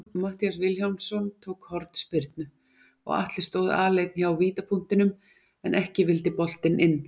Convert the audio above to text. Matthías Vilhjálmsson tók hornspyrnu og Atli stóð aleinn hjá vítapunktinum, en ekki vildi boltinn inn.